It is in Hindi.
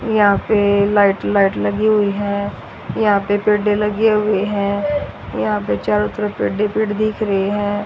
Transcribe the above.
यहां पे लाइट लाइट लगी हुई है यहां पे पेडे लगे हुए है यहां पे चारो तरफ पेडे ही पेड दिख रहे हैं।